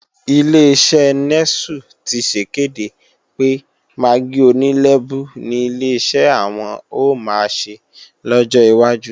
Ileṣẹ́ Nẹ́sù ti sèkéde pé magí oní lẹ́bú ni Ileṣẹ́ àwọn ò máa ṣe lọ́jọ́ wájú